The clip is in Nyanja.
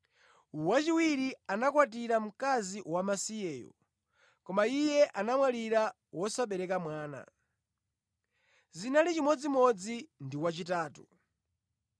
Wachiwiri anakwatira mkazi wamasiyeyo, koma iye anamwalira wosabereka mwana. Zinali chimodzimodzi ndi wachitatu.